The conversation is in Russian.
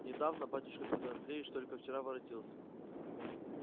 недавно батюшка петр андреевич только вчера воротился